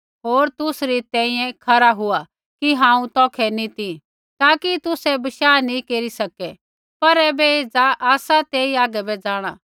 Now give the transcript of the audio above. होर तुसरी तैंईंयैं तुसरी खरा हुआ कि हांऊँ तौखै नी ती ताकि तुसै बशाह केरी सकलै पर ऐबै एज़ा आसा तेई आगै बै जाँणा